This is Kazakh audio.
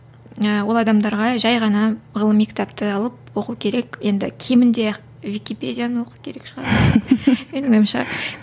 і ол адамдарға жай ғана ғылыми кітапты алып оқу керек енді кемінде википедияны оқу керек шығар менің ойымша